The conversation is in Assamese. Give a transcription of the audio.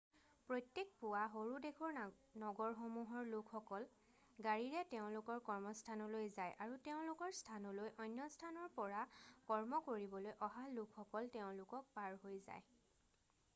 প্ৰত্যেক পূৱা সৰু দেশৰ নগৰসমূহৰ লোকসকল গাড়ীৰে তেওঁলোকৰ কৰ্মস্থানলৈ যায় আৰু তেওঁলোকৰ স্থানলৈ অন্য স্থানৰ পৰা কৰ্ম কৰিবলৈ অহা লোকসকল তেওঁলোকক পাৰ হৈ যায়